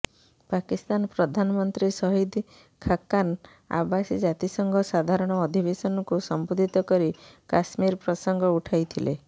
ପାକିସ୍ତାନ ପ୍ରଧାନମନ୍ତ୍ରୀ ଶହିଦ ଖାକାନ ଅବାସୀ ଜାତିସଂଘ ସାଧାରଣ ଅଧିବେଶନକୁ ସମ୍ବୋଧିତ କରି କଶ୍ମୀର ପ୍ରସଙ୍ଗ ଉଠାଇଥିଲେ